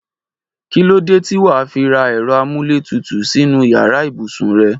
Kí ló dé tí wà á fi ra ẹ̀rọ amúlétutù sínú yàrá ibùsùn rẹ?